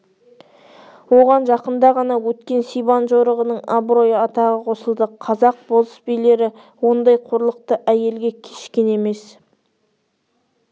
оған жақында ғана өткен сибан жорығының абырой-атағы қосылды қазақ болыс-билері ондай қорлықты әйелге кешкен емес